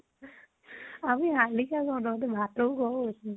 আমি শালিকা কওঁ, তহতে ভাতৌ কʼ কৈছো